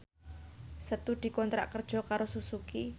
Setu dikontrak kerja karo Suzuki